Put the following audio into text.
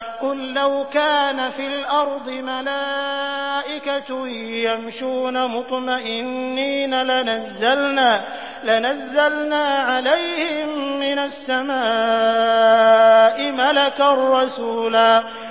قُل لَّوْ كَانَ فِي الْأَرْضِ مَلَائِكَةٌ يَمْشُونَ مُطْمَئِنِّينَ لَنَزَّلْنَا عَلَيْهِم مِّنَ السَّمَاءِ مَلَكًا رَّسُولًا